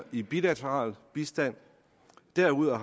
i bilateral bistand derudover